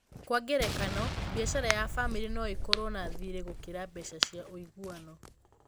Kwa ngerekano, biacara ya famĩlĩ no ĩkorũo na thirĩ gũkĩra mbeca cia ũiguano.